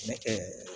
Ne kɛ